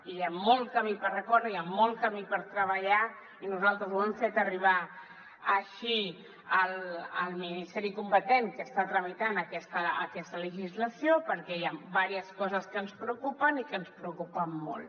hi ha molt camí per recórrer hi ha molt camí per treballar i nosaltres ho hem fet arribar així al ministeri competent que està tramitant aquesta legislació perquè hi ha diverses coses que ens preocupen i que ens preocupen molt